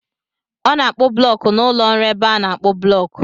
Ọ na-akpụ blọk n'ụlọ ọrụ ebe a na-akpụ blọk.